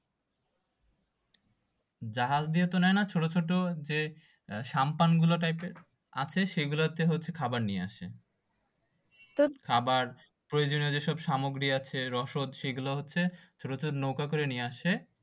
জাহাজ দিয়ে তো নেয়না ছোট ছোট যে সাম্পান গুলো টাইপের আছে সেগুলো হচ্ছে খাবার নিয়ে আসে তো খাবার প্রয়োজনীয় যেসব সামগ্রী আসে রসদ সেগুলো হচ্ছে প্রচুর নৌকো করে নিয়ে আসে